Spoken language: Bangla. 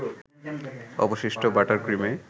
অবশিষ্ট বাটার ক্রিমে